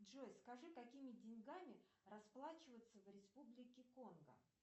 джой скажи какими деньгами расплачиваются в республике конго